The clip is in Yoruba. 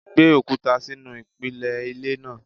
Gbé òkúta sínú ìpìlẹ̀ ilé náà!